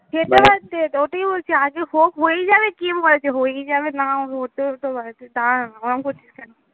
সেটা আছে ওটাই বলছি আগে হোক, হয়ে যাবে কে বলেছে হয়েই যাবে না হতেও তো পারে দ্বারা না ওরম করছিস কেন?